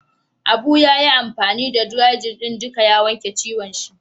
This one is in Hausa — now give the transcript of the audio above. Abu ya yi amfani da "dry-jin " din duka ya wanke ciwon shi.